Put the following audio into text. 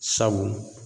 Sabu